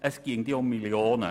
Es ginge ja um Millionen.